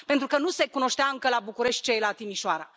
pentru că nu se cunoștea încă, la București, ce este la Timișoara.